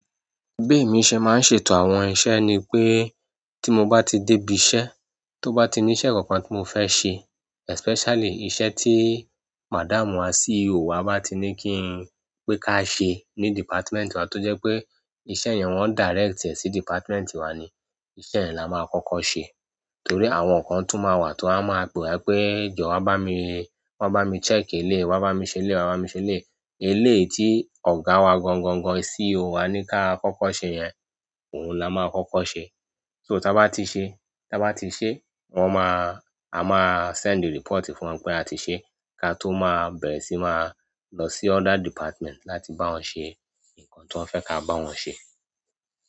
Bemi ṣẹ́ máa ń ṣètò àwọn iṣẹ́ ni pé tí mo bá ti dé ibi iṣẹ́, tó bá ti ní iṣẹ́ kankan tí mo fẹ́ ṣe especially iṣẹ́ tí madam wa CEO wa bá ti ní kí n pé ká ṣe ní department wa tó jẹ́ pé iṣẹ́ yẹn wọ́n direct e sí department wa ni, iṣẹ́ yẹn la máa kọ́kọ́ ṣe. Torí àwọn kan tún máa wà tí wọ́n máa pe ẹ pé jọ́ bá mi, wá bá mi check eléyìí, wá bá mi ṣe eléyìí, wá bá mi ṣe eléyìí. Ilé tí ọ̀gá wa gangan gan CEO wa ní ká kọ́kọ́ ṣe yẹn, òun la máa kọ́kọ́ ṣe. So tí a bá ti ṣe, tí a bá ti ṣe, wọ́n máa-- a máa send the report fún wọn pé a ti ṣe, ká tó máa bẹ̀rẹ̀ sí máa lọ sí other department láti bá wọn ṣe nǹkan tí wọ́n fẹ́ ká bá wọn ṣe.